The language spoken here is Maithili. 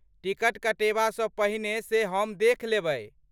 टिकट कटेबासँ पहिने से हम देखि लेबै।